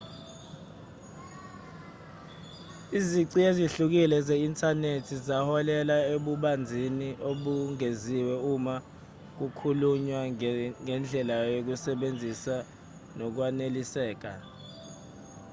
izici ezihlukile ze-inthanethi zaholela ebubanzini obengeziwe uma kukhulunywa ngendlela yokusebenzisa nokwaneliseka